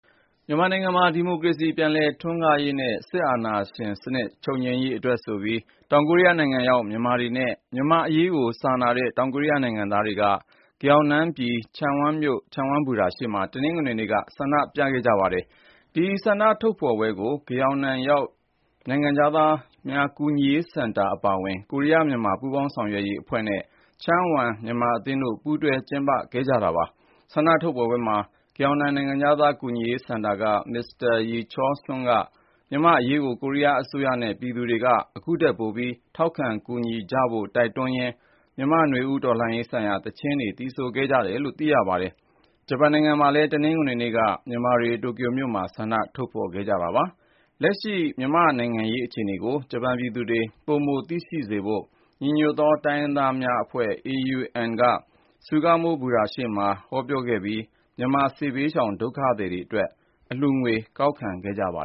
မြန်မာနိုင်ငံမှာ ဒီမိုကရေစီ ပြန်လည်ထွန်းကားရေးနဲ့ စစ်အာဏာရှင်စနစ် ချုပ်ငြိမ်းရေးအတွက်ဆိုပြီး တောင်ကိုရီးယားနိုင်ငံရောက် မြန်မာတွေနဲ့ မြန်မာ့အရေးကို စာနာတဲ့ တောင်ကိုရီးယားနိုင်ငံသားတွေက ဂယောင်နမ်ပြည် ချန်းဝမ်မြို့ ချန်းဝမ်ဘူတာရှေ့မှာ တနင်္ဂနွေနေ့က ဆန္ဒပြခဲ့ကြပါတယ်။ ဒီဆန္ဒထုတ်ဖော်ပွဲကို ဂယောင်နမ်ရောက် နိုင်ငံခြားသားများ ကူညီရေးစင်တာ အပါအဝင် ကိုရီးယား-မြန်မာ ပူးပေါင်းလုပ်ဆောင်ရေးအဖွဲ့နဲ့ ချန်းဝမ် မြန်မာအသင်းတို့ ပူးတွဲ ကျင်းပခဲ့ကြတာပါ။ ဆန္ဒထုတ်ဖော်ပွဲမှာ ဂယောင်နမ် နိုင်ငံခြားသား ကူညီရေးစင်တာက မစ္စတာ ယီချောလ်စွန်းက မြန်မာ့အရေးကို ကိုရီးယားအစိုးရနဲ့ ပြည်သူတွေက ခုထက်ပိုပြီး ထောက်ခံ ကူညီကြဖို့ တိုက်တွန်းရင်း မြန်မာ့နွေဦးတော်လှန်ရေးဆိုင်ရာ သီချင်းတွေ သီဆိုခဲ့ကြပါတယ်။ ဂျပန်နိုင်ငံမှာလည်း တနင်္ဂနွေနေ့က မြန်မာတွေ တိုကျိုမြို့မှာ ဆန္ဒထုတ်ဖော်ခဲ့ကြပါတယ်။ လက်ရှိ မြန်မာ့နိုင်ငံရေး အခြေအနေကို ဂျပန်ပြည်သူတွေ ပိုမိုသိရှိစေဖို့ ညီညွတ်သော တိုင်းရင်းသားများအဖွဲ့ (AUN) က Sugamo ဘူတာရှေ့မှာ ဟောပြောခဲ့ပြီး မြန်မာစစ်ဘေးရှောင် ဒုက္ခသည်တွေအတွက် အလှူငွေ ကောက်ခံခဲ့ကြပါ